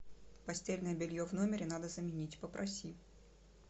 постельное белье в номере надо заменить попроси